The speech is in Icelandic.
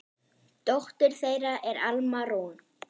Dóttir þeirra er Alma Rún.